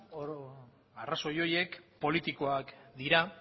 arrazoi horiek politikoak dira